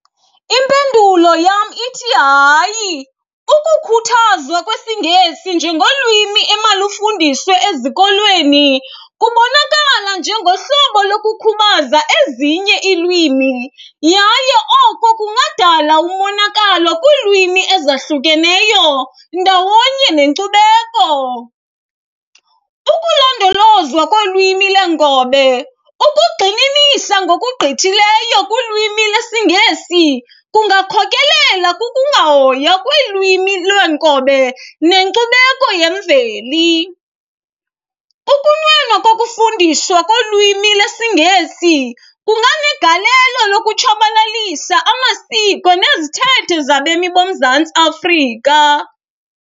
Impendulo yam ithi hayi. Ukukhuthazwa kwesiNgesi njengolwimi emalufundiswe ezikolweni kubonakala njengohlobo lokukhubaza ezinye iilwimi yaye oko kungadala umonakalo kwiilwimi ezahlukeneyo ndawonye nenkcubeko. Ukulondolozwa kolwimi leenkobe, ukugxininisa ngokugqithileyo kulwimi lesiNgesi kungakhokelela kukungahoywa kwelwimi lwenkobe nenkcubeko yemveli. Ukunwenwa kokufundiswa kolwimi lesiNgesi kunganegalelo lokutshabalalisa amasiko nezithethe zabemi boMzantsi Afrika.